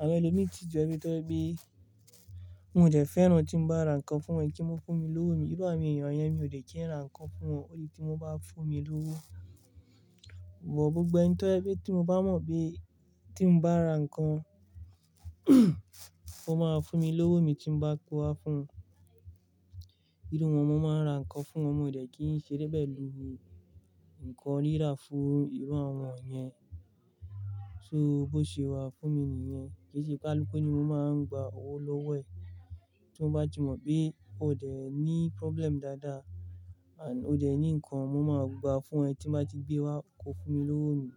Àwon ẹlòmíràn tó jẹ́ wípé wọn dẹ̀ fẹ́ràn tí mo bá ra nǹkan fún wọn kí wọ́n fún mi lówó mi. Irú àwọn èèyàn yẹn mi ò dẹ̀ kí ń ra nǹkan fún wọn ó di tí wọ́n bá fún mi lówó. But gbogbo ẹni tó jẹ́ tí mo bá mọ̀ pe tí mo bá ra nǹkan wọ́n máa fún mi lówó mi tí mo bá kó wá fún wọn. Irú wọn mo máa ń ra nǹkan fún wọn, mi ò dẹ̀ kí ń ṣe bẹ́ẹ̀ lu u, nǹkan rírà fún irú àwọn yẹn. So bó ṣe wà fún mi nìyẹn. Kì í ṣe kálukú ni mo máa ń gba owó lówó ẹ̀. Tí mo bá ti mọ̀ pé o ò dẹ̀ ní problem dáadáa and o ò dẹ̀ ní nǹkan, mo máa gba fún ẹ tí mo bá ti gbé wá o kó fún mi lówó mi.